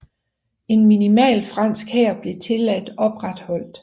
En minimal fransk hær blev tilladt opretholdt